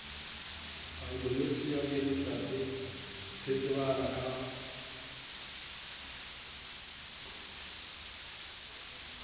adonsonia digitata se tsebahalang ka